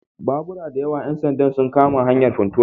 Babura da yawa ‘yan sanda sun kama hanyar Funtua